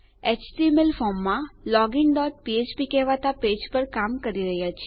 HTML ફોર્મમાં login dot ફ્ફ્પ કહેવાતા પેજ પર કામ કરી રહ્યા છીએ